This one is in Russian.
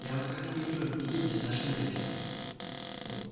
я вас как-то не привык видеть без вашей нелли